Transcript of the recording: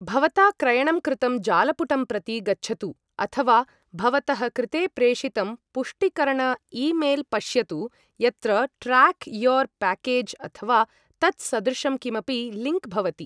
भवता क्रयणं कृतं जालपुटं प्रति गच्छतु अथवा भवतः कृते प्रेषितं पुष्टिकरण ईमेल् पश्यतु यत्र ट्राक् योर् पाकेज् अथवा तत्सदृशं किमपि लिङ्क् भवति।